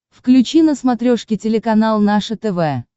включи на смотрешке телеканал наше тв